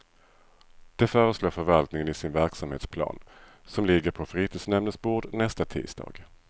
Det föreslår förvaltningen i sin verksamhetsplan, som ligger på fritidsnämndens bord nästa tisdag.